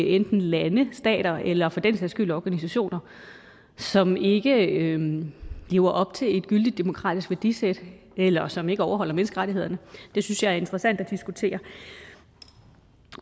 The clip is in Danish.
enten lande stater eller for den sags skyld organisationer som ikke lever op til et gyldigt demokratisk værdisæt eller som ikke overholder menneskerettighederne synes jeg er interessant at diskutere